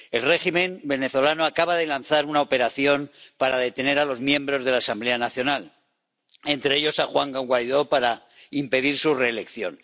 El régimen venezolano acaba de lanzar una operación para detener a los miembros de la Asamblea Nacional ―entre ellos a Juan Guaidó― para impedir su reelección.